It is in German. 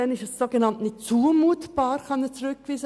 Diesen Personen gegenüber ist eine Rückweisung unzumutbar.